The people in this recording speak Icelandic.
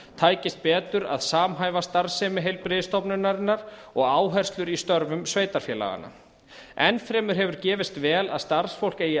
tækist betur að samhæfa starfsemi heilbrigðisstofnunarinnar og áherslur í störfum sveitarfélaganna enn fremur hefur gefist vel að starfsfólk eigi